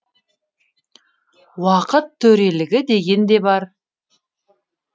уақыт төрелігі деген де бар